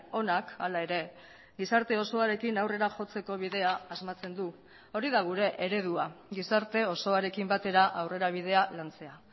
onak hala ere gizarte osoarekin aurrera jotzeko bidea asmatzen du hori da gure eredua gizarte osoarekin batera aurrerabidea lantzea